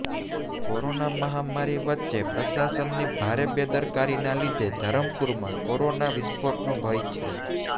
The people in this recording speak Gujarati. કોરોના મહામારી વચ્ચે પ્રશાસનની ભારે બેદરકારીના લીધે ધરમપુરમાં કોરોના વિસ્ફોટનો ભય છે